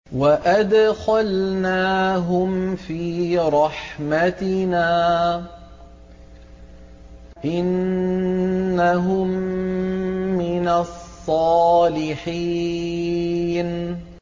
وَأَدْخَلْنَاهُمْ فِي رَحْمَتِنَا ۖ إِنَّهُم مِّنَ الصَّالِحِينَ